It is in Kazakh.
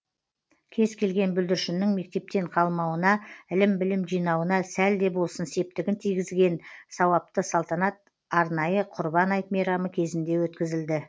кез келген бүлдіршіннің мектептен қалмауына ілім білім жинауына сәл де болсын септігін тигізген сауапты салтанат арнайы құрбан айт мейрамы кезінде өткізілді